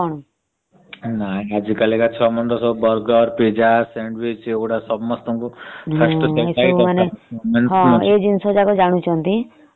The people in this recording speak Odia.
ନାଇ ଆଜି କଲିକା ଛୁଆ ସବୁ burger pizza sandwich ଏଗୁଡା ସବୁ ଦରକାର